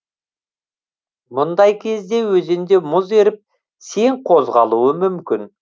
мұндай кезде өзенде мұз еріп сең козғалуы мүмкін